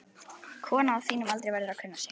Kona á þínum aldri verður að kunna sig.